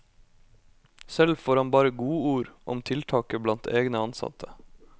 Selv får han bare godord om tiltaket blant egne ansatte.